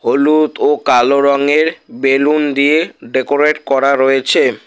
হলুদ ও কালো রঙের বেলুন দিয়ে ডেকোরেট করা রয়েছে।